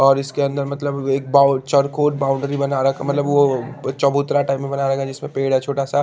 और इसके अंदर मतलब एक बोउ चकोर बाउंड्री बना रख मतलब वो चबूतरा टाइप में बना रखा है जिसमे पेड़ है छोटा सा--